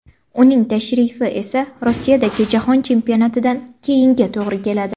Uning tashrifi esa Rossiyadagi Jahon Chempionatidan keyinga to‘g‘ri keladi.